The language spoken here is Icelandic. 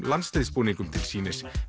landsliðsbúningum til sýnis